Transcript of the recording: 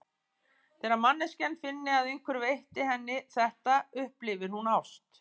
Þegar manneskjan finni að einhver veiti henni þetta, upplifi hún ást.